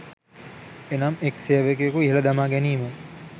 එනම් එක් සේවකයෙකු ඉහල දමාගැනීම